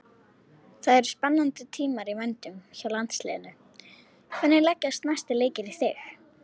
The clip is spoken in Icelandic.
Það eru spennandi tímar í vændum hjá landsliðinu, hvernig leggjast næstu leikir í þig?